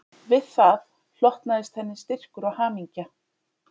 Við það hlotnaðist henni styrkur og hamingja